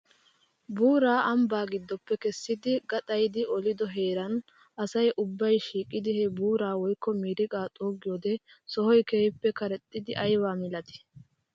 Buuraa ambbaa gidoppe kessidi gaxayidi olido heeran asa ubbay shiiqidi he buuraa woykko miriqaa xuuggido sohoy keehippe karexxidi aybaa milatii!